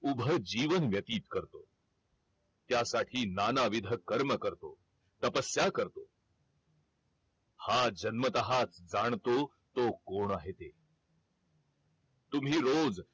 उभा जीवन व्यतीत करतो त्यासाठी नाना विध कर्म करतो तपस्या करतो हा जन्मतःच जाणतो तो कोण आहे त तुम्ही रोज